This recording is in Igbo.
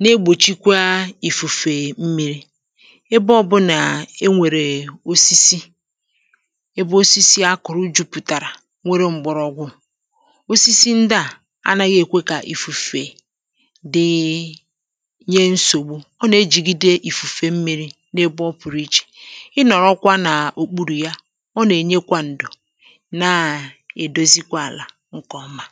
na-egbòchikwa ìfùfè mmi̇ri ebe ọ̀bụrụ nà ẹ nwẹ̀rẹ̀ osisi ebe osisi a kụ̀rụ jupùtàrà nwere m̀gbọ̀rọgwụ òsisi ndị à anaghị èkwe kà ìfùfè dị nye nsògbu ọ nà ejigide ìfùfè mmi̇ri nye ebe ọ pụ̀rụ ichė ịnọ̀rọkwa nà òkpurù ya ọ nà ènyekwa ǹdò nkè ọma